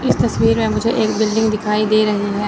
इस तस्वीर में मुझे एक बिल्डिंग दिखाई दे रही है।